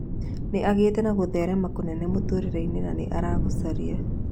Nĩagĩte na gũtherema kũnene mũtũrĩre-inĩ na nĩaragucĩrĩria